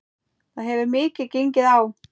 Það hefur mikið gengið á.